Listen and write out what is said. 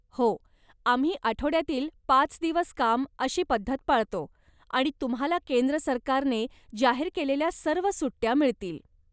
हो, आम्ही आठवड्यातील पाच दिवस काम अशी पद्धत पळतो आणि तुम्हाला केंद्र सरकारने जाहिर केलेल्या सर्व सुट्ट्या मिळतील.